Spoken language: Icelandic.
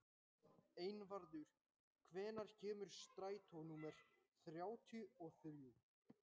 Einvarður, hvenær kemur strætó númer þrjátíu og þrjú?